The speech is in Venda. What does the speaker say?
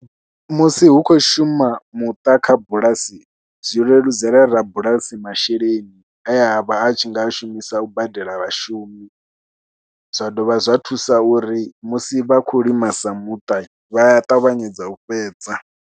Musi hu khou shuma muṱa kha bulasi zwi leludzela rabulasi masheleni e a vha a tshi nga a shumisa u badela vhashumi, zwa dovha zwa thusa uri musi vha khou lima sa muṱa vha a ṱavhanyedza u fhedza.